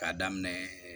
K'a daminɛ